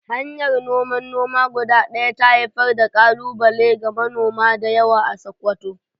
Hanyar noman noma guda ɗaya ta haifar da ƙalubale ga manoma da yawa a Sakkwato.